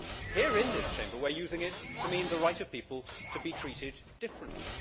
Here in this Chamber, we are using it to mean the right of people to be treated differently.